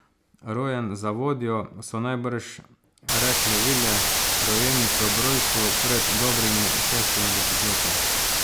Rojen za vodjo, so najbrž rekle vile rojenice ob rojstvu pred dobrimi šestimi desetletji.